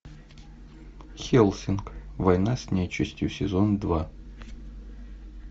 хеллсинг война с нечистью сезон два